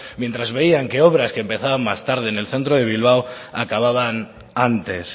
mientras veían que obras que empezaban más tarde en el centro de bilbao acababan antes